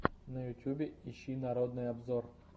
на ютубе ищи народный обзор